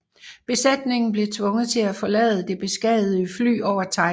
Besætningen blev tvunget til at forlade det beskadigede fly over Thailand